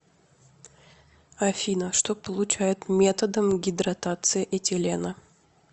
афина что получают методом гидратации этилена